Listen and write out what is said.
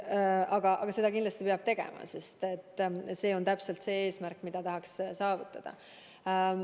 Aga seda kindlasti peab tegema, sest see on täpselt see eesmärk, mida tahaks saavutada.